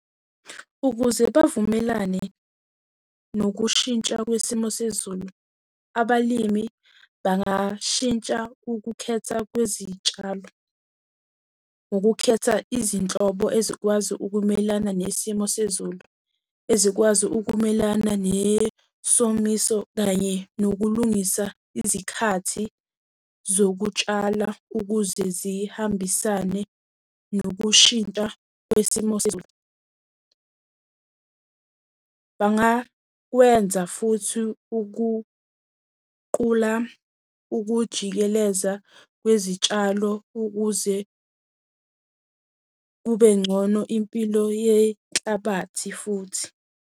Ukuze bavumelane nokushintsha kwesimo sezulu, abalimi bangashintsha ukukhetha kwezitshalo, ngokukhetha izinhlobo ey'zokwazi ukumelana nesimo sezulu. Ezikwazi ukumelana nesomiso kanye nokulungisa izikhathi zokutshala ukuze zihambisane nokushintsha kwesimo sezulu. Bangakwenza futhi ukuqula ukujikeleza kwezitshalo ukuze kube ngcono impilo yenhlabathi futhi.